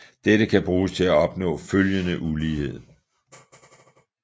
Dette kan bruges til at opnå følgende ulighed